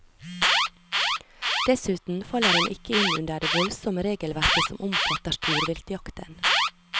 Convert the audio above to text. Dessuten faller den ikke inn under det voldsomme regelverket som omfatter storviltjakten.